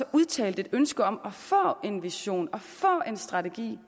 udtalt ønske om at få en vision og få en strategi